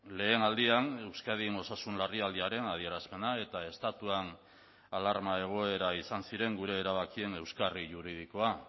lehen aldian euskadin osasun larrialdiaren adierazpena eta estatuan alarma egoera izan ziren gure erabakien euskarri juridikoa